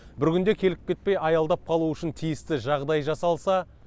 бір күнде келіп кетпей аялдап қалу үшін тиісті жағдай жасалса